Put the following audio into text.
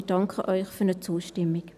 Wir danken Ihnen für die Zustimmung.